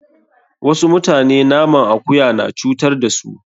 Wasu mutane naman akuya na cutar da su.